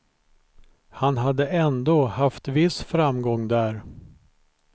Han hade ändå haft viss framgång där.